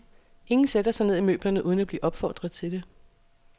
Ingen sætter sig ned i møblerne uden at blive opfordret til det.